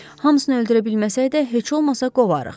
Hamsını öldürə bilməsək də, heç olmasa qovarıq.